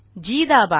जी दाबा